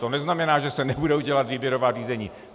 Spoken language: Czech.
To neznamená, že se nebudou dělat výběrová řízení.